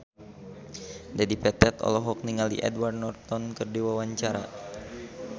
Dedi Petet olohok ningali Edward Norton keur diwawancara